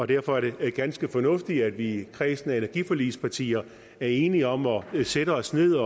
derfor er det ganske fornuftigt at vi i kredsen af energiforligspartier er enige om at sætte os ned